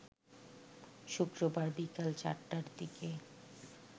শুক্রবার বিকাল ৪টার দিকে